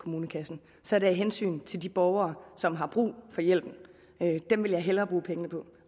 kommunekassen så er det af hensyn til de borgere som har brug for hjælpen dem vil jeg hellere bruge pengene på